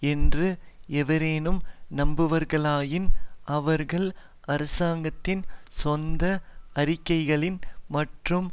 என்று எவரேனும் நம்புவார்களாயின் அவர்கள் அரசாங்கத்தின் சொந்த அறிக்கைகளின் மற்றும்